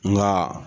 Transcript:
Nga